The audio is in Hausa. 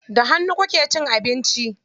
Da hannu kuke cin abinci?